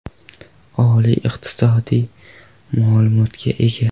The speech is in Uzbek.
Oliy iqtisodiy ma’lumotga ega.